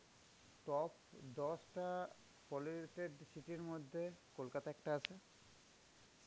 top দশটা polluted city র মধ্যে কলকাতা একটা আছে.